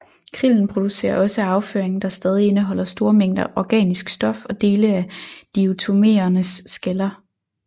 Krillen producerer også afføring der stadig indeholder store mængder organisk stof og dele af diatomeernes skaller